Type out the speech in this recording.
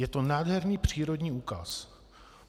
Je to nádherný přírodní úkaz.